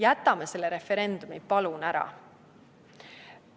Jätame selle referendumi, palun, ära!